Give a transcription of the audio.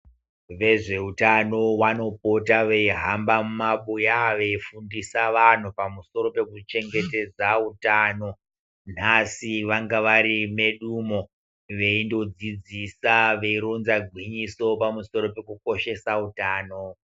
Vezveutano vanopota veihamba mumabuya veifundisa vanhu pamusoro pekuchengetedza utano nhasi vanga varimedu umo veindodzidzisa veironza gwinyiso pamusoro pekukoshesa utano.